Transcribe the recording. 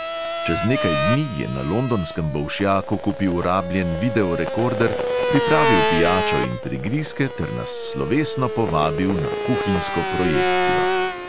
Čez nekaj dni je na londonskem bolšjaku kupil rabljen videorekorder, pripravil pijačo in prigrizke ter nas slovesno povabil na kuhinjsko projekcijo.